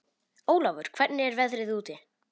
Ólafur, hvernig er veðrið úti?